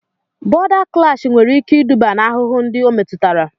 Bọ̀da klash nwere ike iduba n'ahụhụ ndị o metụtara